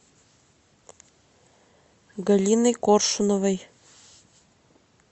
галиной коршуновой